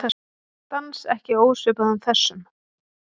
Dans ekki ósvipaðan þessum.